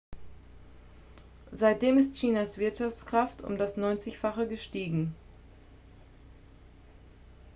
seitdem ist chinas wirtschaftskraft um das neunzigfache gestiegen